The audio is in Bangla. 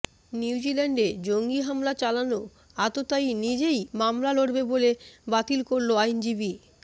নিউজিল্যান্ডে জঙ্গি হামলা চালানো আততায়ী নিজেই মামলা লড়বে বলে বাতিল করল আইনজীবী